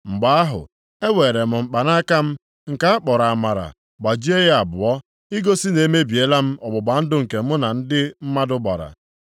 Mgbe ahụ, eweere m mkpanaka m, nke a kpọrọ Amara gbajie ya abụọ, igosi na emebiela m ọgbụgba ndụ nke mụ na ndị mmadụ gbara.